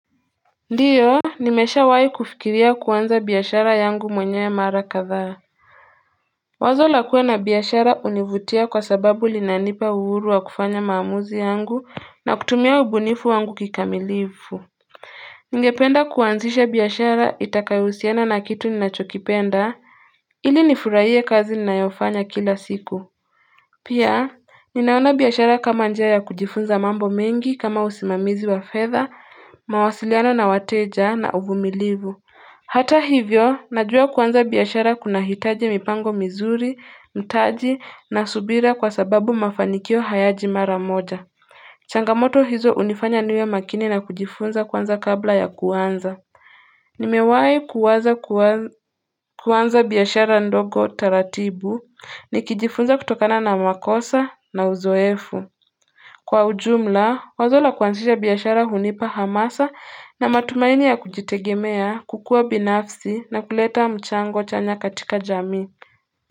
Ndio nimeshawahi kufikiria kuanza biashara yangu mwenyewe mara kadhaa. Wazo la kuwa na biashara hunivutia kwa sababu linanipa uhuru wa kufanya maamuzi yangu, na kutumia ubunifu wangu kikamilifu. Ningependa kuanzisha biashara itakayohusiana na kitu ninachokipenda ili nifurahie kazi ninayofanya kila siku. Pia ninaona biashara kama njia ya kujifunza mambo mengi, kama usimamizi wa fedha, mawasiliano na wateja na uvumilivu. Hata hivyo, najua kuanza biashara kunahitaji mipango mizuri, mtaji na subira kwa sababu mafanikio hayaji mara moja. Changamoto hizo hunifanya niwe makini na kujifunza kwanza kabla ya kuanza. Nimewahi kuwaza kuanza biashara ndogo taratibu, nikijifunza kutokana na makosa na uzoefu. Kwa ujumla, wazo la kuanzisha biashara hunipa hamasa na matumaini ya kujitegemea, kukua binafsi na kuleta mchango chanya katika jamii.